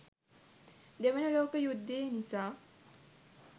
දෙවන ලෝක යුද්දෙ නිසා